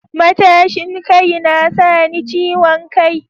Matashin kai na sa ni ciwon kai